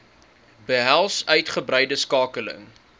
behels uitgebreide skakeling